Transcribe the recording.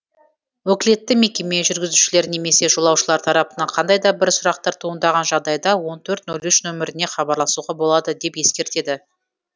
өкілетті мекеме жүргізушілер немесе жолаушылар тарапынан қандай да бір сұрақтар туындаған жағдайда он төрт те нөл үш нөміріне хабарласуға болады деп ескертеді